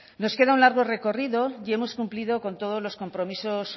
nos queda un largo recorrido y hemos cumplido con todos los compromisos